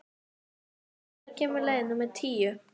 Ásdór, hvenær kemur leið númer tíu?